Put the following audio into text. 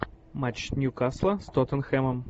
матч ньюкасла с тоттенхэмом